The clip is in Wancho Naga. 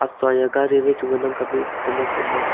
soa ya gari wai chu ngan ang kapley e photo ma kem e.